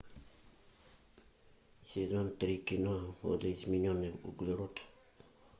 сезон три кино видоизмененный углерод